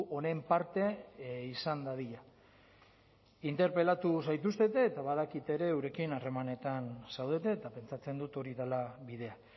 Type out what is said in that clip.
honen parte izan dadila interpelatu zaituztete eta badakit ere eurekin harremanetan zaudete eta pentsatzen dut hori dela bidea